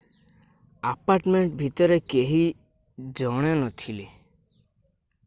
apartment ଭିତରେ କେହି 1 ଜଣ ନଥିଲେ